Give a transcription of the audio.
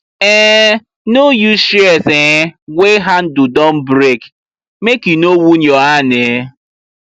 um no use shears um wey handle don break make e no wound your hand um